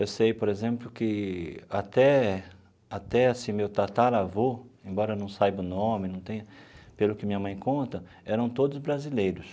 Eu sei, por exemplo, que até até, assim, meu tataravô, embora eu não saiba o nome não tenha, pelo que minha mãe conta, eram todos brasileiros.